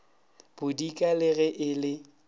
bodika le ge e le